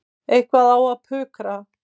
Eitthvað á að pukra.